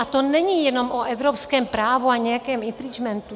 A to není jenom o evropském právu a nějakém infringementu.